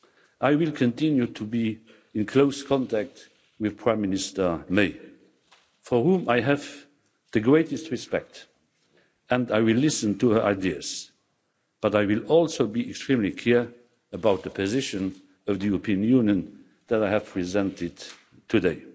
I will continue to be in close contact with Prime Minister May, for whom I have the greatest respect, and I will listen to her ideas, but I will also be extremely clear about the position of the European Union that I have presented today.